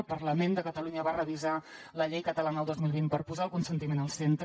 el parlament de catalunya va revisar la llei catalana el dos mil vint per posar el consentiment al centre